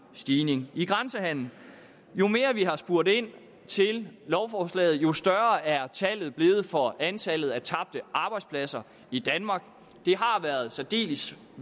stigning i grænsehandelen jo mere vi har spurgt ind til lovforslaget jo større er tallet blevet for antallet af tabte arbejdspladser i danmark det har været særdeles